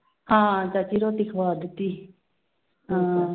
ਹਾਂ ਚਾਚੀ ਰੋਟੀ ਖਵਾ ਦਿੱਤੀ ਹਾਂ।